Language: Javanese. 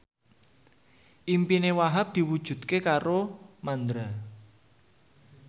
impine Wahhab diwujudke karo Mandra